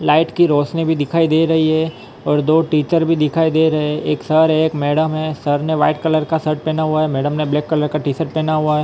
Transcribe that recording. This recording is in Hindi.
लाइट की रोशनी भी दिखाई दे रही है और दो टीचर भी दिखाई दे रहे एक सर है एक मैडम है सर ने व्हाइट कलर का शर्ट पहना हुआ है मैडम ने ब्लैक कलर का टी शर्ट पहना हुआ है।